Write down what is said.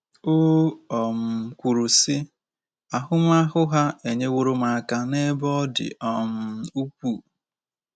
O um kwuru sị,“ Ahụmahụ ha enyeworo m aka n'ebe ọ dị um ukwuu.